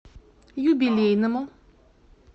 юбилейному